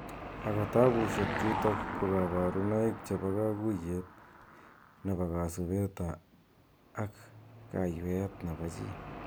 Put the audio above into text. Ako tabushek chutok ko kabarunoik che bo kakuyet ne bo kasubet ab ak ka yweet nebo chi.